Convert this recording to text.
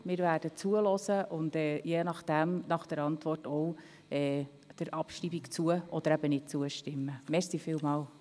Wir werden zuhören und der Abschreibung je nach Antwort zustimmen oder eben nicht.